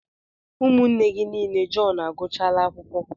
Ụmụnne gị niile Jọn agụchala akwụkwọ.